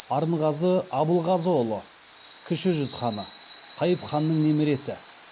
арынғазы абылғазыұлы кіші жүз ханы қайып ханның немересі